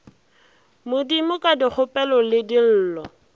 modimo ka dikgopelo le dillo